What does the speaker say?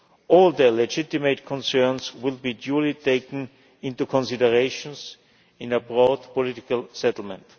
All their legitimate concerns will be duly taken into consideration in a broad political settlement.